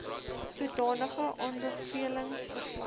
sodanige aanbevelings verslag